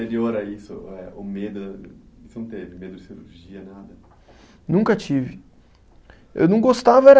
Anterior a isso, eh o medo, você não teve medo de cirurgia, nada? Nunca tive, eu não gostava era